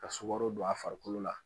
Ka sukaro don a farikolo la.